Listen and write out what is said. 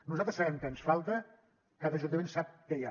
nosaltres sabem què ens falta cada ajuntament sap què hi ha